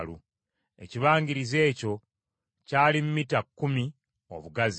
Ekibangirizi ekyo kyali mita kkumi obugazi.